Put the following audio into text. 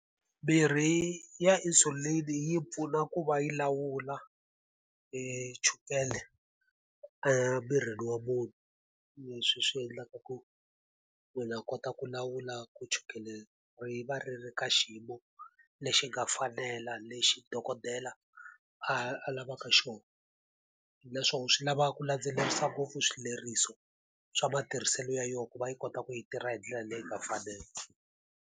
Mirhi ya insulin-i yi pfuna ku va yi lawula e chukela emirini wa munhu, leswi swi endlaka ku munhu a kota ku lawula ku chukela ri va ri ri ka xiyimo lexi nga fanela lexi dokodela a a lavaka xona. Naswona swi lava ku landzelerisa ngopfu swileriso swa matirhiselo ya yona ku va yi kota ku yi tirha hi ndlela leyi nga fanela.